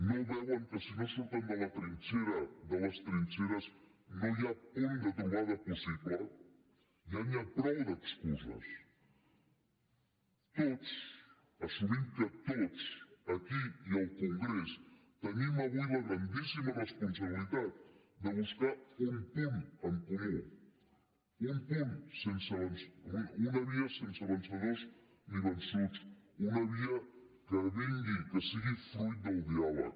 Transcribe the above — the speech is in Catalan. no veuen que si no surten de la trinxera de les trinxeres no hi ha punt de trobada possible ja n’hi ha prou d’excuses tots assumim que tots aquí i al congrés tenim avui la grandíssima responsabilitat de buscar un punt en comú una via sense vencedors ni vençuts una via que vingui que sigui fruit del diàleg